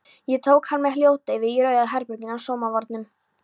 Ég tók hann með hljóðdeyfi í Rauða herberginu á Samóvarnum.